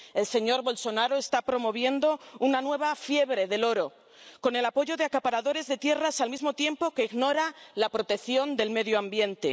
El señor Bolsonaro está promoviendo una nueva fiebre del oro, con el apoyo de acaparadores de tierras, al mismo tiempo que ignora la protección del medio ambiente.